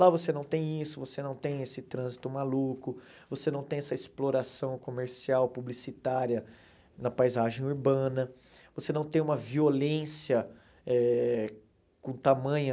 Lá você não tem isso, você não tem esse trânsito maluco, você não tem essa exploração comercial, publicitária na paisagem urbana, você não tem uma violência eh com tamanha,